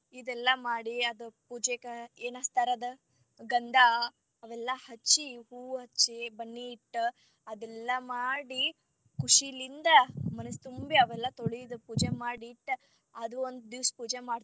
ಇದೆಲ್ಲಾ ಮಾಡಿ ಅದ ಪೂಜೆಕ ಏನಾಚ್ತಾರಾ ಅದ ಗಂಧಾ ಅವೆಲ್ಲಾ ಹಚ್ಚಿ ಹೂ ಹಚ್ಚಿ, ಬನ್ನಿ ಇಟ್ಟ್ ಅದೇಲ್ಲಾ ಮಾಡಿ ಖುಷಿಲಿಂದ ಮನಸ್ ತುಂಬಿ ಅವೆಲ್ಲಾ ತೊಳಿದ್ ಪೂಜೆ ಮಾಡಿ ಇಟ್ಟ್ ಅದು ಒಂದ ದಿವಸ ಪೂಜೆ ಮಾಡ್ತೀವಿ.